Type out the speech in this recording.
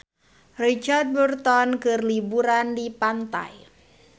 Richard Burton keur liburan di pantai